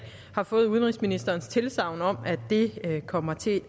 har fået udenrigsministerens tilsagn om at det kommer til